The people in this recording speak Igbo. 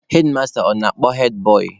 Hedmasta ọ na-akpọ hedbọị?